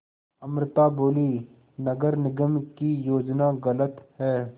अमृता बोलीं नगर निगम की योजना गलत है